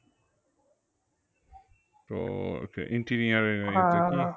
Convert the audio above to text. তো